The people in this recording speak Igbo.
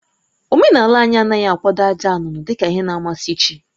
Omenala anyị anaghị akwado àjà nnụnụ dị ka ihe na-amasị chi